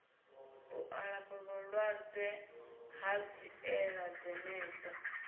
u alafha vhalwadze hanziela dzenedzo